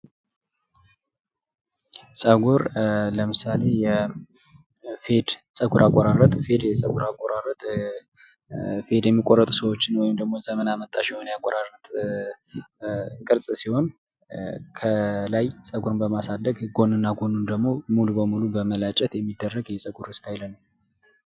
ፀጉር ለምሳሌ የፌድ ፀጉር፤ ፌድ ፀጉር አቆራረጥ ጸጉር አቆራረጥ ፌድ የሚቆረጡ ሰዎች ወይንም ደሞ ዘመን አመጣሽ የሆነ ያቆራረጥ ቅርጽ ሲሆን ከላይ ጸጉርን በማሳደግና ጎን እና ጎኑን ደግሞ ሙሉ በሙሉ በመላጨት የሚደረግ የፀጉር እስታይል።